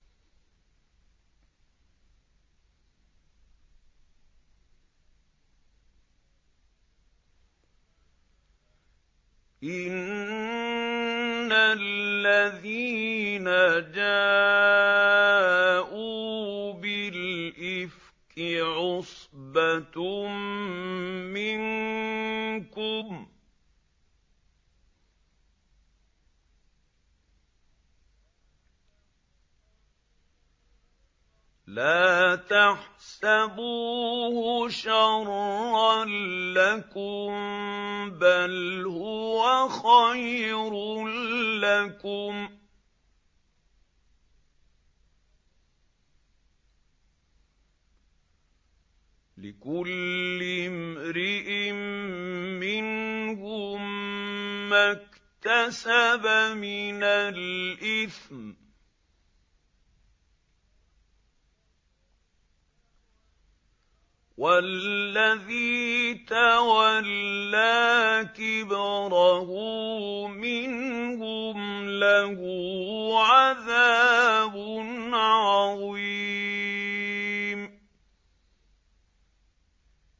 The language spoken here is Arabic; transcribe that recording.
إِنَّ الَّذِينَ جَاءُوا بِالْإِفْكِ عُصْبَةٌ مِّنكُمْ ۚ لَا تَحْسَبُوهُ شَرًّا لَّكُم ۖ بَلْ هُوَ خَيْرٌ لَّكُمْ ۚ لِكُلِّ امْرِئٍ مِّنْهُم مَّا اكْتَسَبَ مِنَ الْإِثْمِ ۚ وَالَّذِي تَوَلَّىٰ كِبْرَهُ مِنْهُمْ لَهُ عَذَابٌ عَظِيمٌ